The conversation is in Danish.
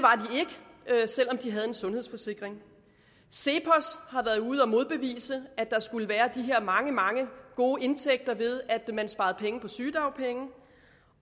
der er selv om de havde en sundhedsforsikring cepos har været ude at modbevise at der skulle være de her mange mange gode indtægter ved at man sparede penge på sygedagpenge